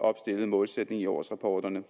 opstillede målsætning i årsrapporterne